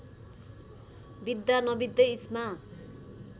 बित्दा नबित्दै इस्मा